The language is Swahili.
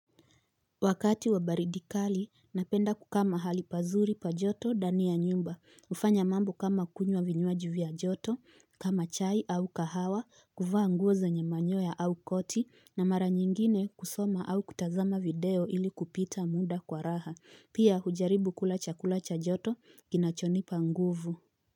Wakati wa baridi kali, napenda kukaa mahali pazuri pa joto ndani ya nyumba, hufanya mambo kama kunywa vinywaji vya joto, kama chai au kahawa, kuvaa nguo zenye manyoya au koti, na mara nyingine kusoma au kutazama video ili kupita muda kwa raha, pia hujaribu kula chakula cha joto kinachonipa nguvu.